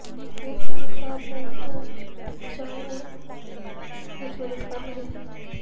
ਉਹ ਰੁੱਖ ਨੂੰ ਖ਼ਰਾਬ ਹੋਣ ਤੋਂ ਬਚਾਉਣ ਵਿਚ ਮਦਦ ਕਰਨਗੇ